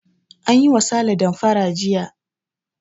An yi wa sale damfara jiya.